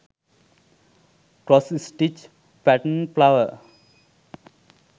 cross stitch pattern flower